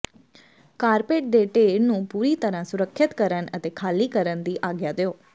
carpet ਦੇ ਢੇਰ ਨੂੰ ਪੂਰੀ ਤਰ੍ਹਾਂ ਸੁਰੱਖਿਅਤ ਕਰਨ ਅਤੇ ਖਾਲੀ ਕਰਨ ਦੀ ਆਗਿਆ ਦਿਓ